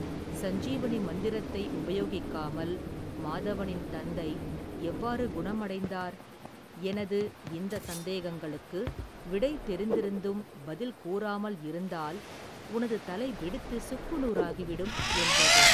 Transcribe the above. சஞ்ஜீவனி மந்திரத்தை உபயோகிக்காமல் மாதவனின் தந்தை எவ்வாறு குணம்அடைந்தார் எனது இந்த சந்தேகங்களுக்கு விடை தெரிந்து இருந்தும் பதில் கூறாமல் இருந்தால் உனது தலை வெடித்து சுக்கு நூறாகி விடும் என்றது.